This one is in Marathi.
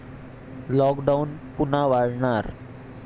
लॉकडाऊन पुन्हा वाढणार?